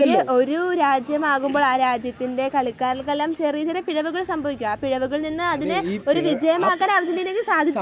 ഒരു രാജ്യമാവുമ്പോൾ ആ രാജ്യത്തിൻറെ കളിക്കാർക്കെല്ലാം ചെറിയ ചെറിയ പിഴവുകൾ സംഭവിക്കും . ആ പിഴവുകളിൽ നിന്ന് അതിനെ ഒരു വിജയമാക്കാൻ അർജെൻറ്റീനക്ക് സാധിച്ചു.